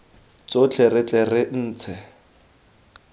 tsotlhe re tle re intshe